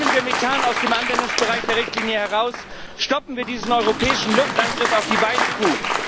Nehmen wir Methan aus dem Anwendungsbereich der Richtlinie heraus, stoppen wir diesen europäischen Luftangriff auf die Weidekuh!